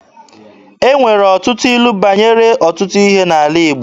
E nwere ọtụtụ ilu banyere ọtụtụ ihe n'ala Igbo.